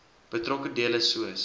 betrokke dele soos